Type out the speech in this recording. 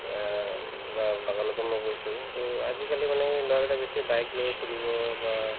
অ, উম বা বাগানতো মই কৈছো to আজিকালি মানে এই ল'ৰাবিলাক বেছিকে bike লৈ ফুৰিব বা